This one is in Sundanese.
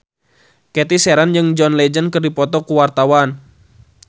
Cathy Sharon jeung John Legend keur dipoto ku wartawan